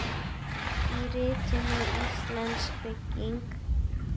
Í ritinu Íslensk bygging